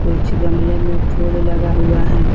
कुछ गमले में फूल लगा हुआ है।